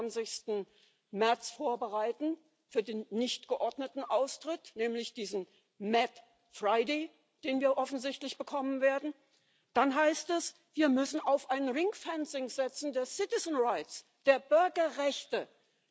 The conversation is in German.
29. März vorbereiten, auf den nicht geordneten Austritt, nämlich diesen mad Friday den wir offensichtlich bekommen werden, dann heißt es, wir müssen auf eine Einfriedung der Bürgerrechte setzen.